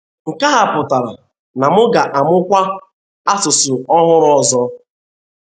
Nke a pụtara na m ga - amụkwa asụsụ ọhụrụ ọzọ.